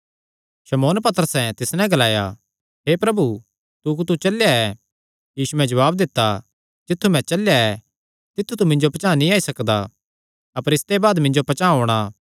शमौन पतरसैं तिस नैं ग्लाया हे प्रभु तू कुत्थू चलेया ऐ यीशुयैं जवाब दित्ता जित्थु मैं चलेया तित्थु तू मिन्जो पचांह़ नीं आई सकदा अपर इसते बाद मिन्जो पचांह़ औणां